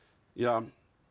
já